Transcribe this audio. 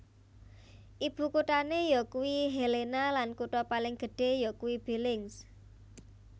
Ibukuthané yakuwi Helena lan kutha paling gedhé yakuwi Billings